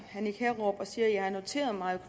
og sige at jeg har noteret mig at